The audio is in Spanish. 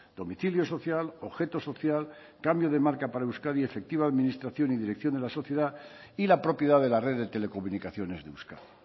domicilio social objeto social cambio de marca para euskadi efectiva administración y dirección de la sociedad y la propiedad de la red de telecomunicaciones de euskadi